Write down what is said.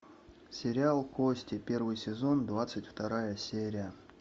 сериал кости первый сезон двадцать вторая серия